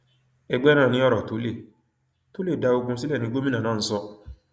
ẹgbẹ náà ni ọrọ tó lè tó lè dá ogún sílẹ ni gómìnà náà ń sọ